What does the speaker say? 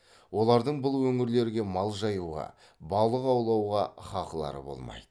олардың бұл өңірлерге мал жаюға балық аулауға хақылары болмайды